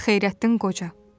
Xeyrəddin Qoca.